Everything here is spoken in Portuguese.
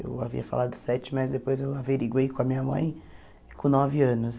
Eu havia falado sete, mas depois eu averiguei com a minha mãe com nove anos.